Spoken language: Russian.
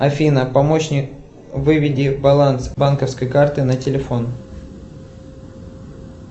афина помощник выведи баланс банковской карты на телефон